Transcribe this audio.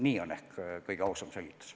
Niisugune on ehk kõige ausam selgitus.